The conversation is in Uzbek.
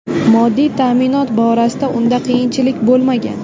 Moddiy ta’minot borasida unda qiyinchilik bo‘lmagan.